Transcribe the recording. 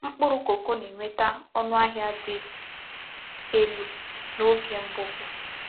Mkpụrụ Kókó na-enweta ọnụahịa dị elu n’oge mbupu.